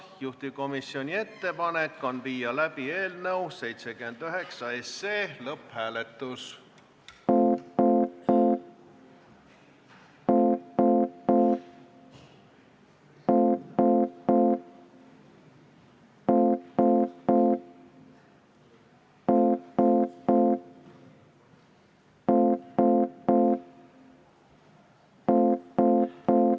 Juhtivkomisjoni ettepanek on viia läbi eelnõu 79 lõpphääletus.